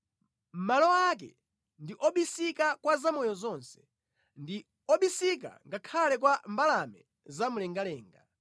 Malo ake ndi obisika kwa zamoyo zonse, ndi obisika ngakhale kwa mbalame zamlengalenga.